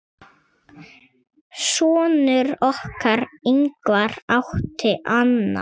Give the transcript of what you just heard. Sonur okkar, Ingvar, átti annað.